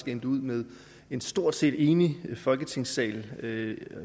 endte med en stort set enig folketingssal